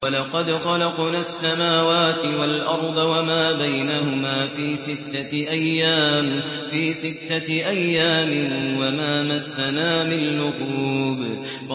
وَلَقَدْ خَلَقْنَا السَّمَاوَاتِ وَالْأَرْضَ وَمَا بَيْنَهُمَا فِي سِتَّةِ أَيَّامٍ وَمَا مَسَّنَا مِن لُّغُوبٍ